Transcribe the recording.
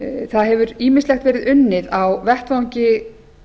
það hefur ýmislegt verið unnið á vettvangi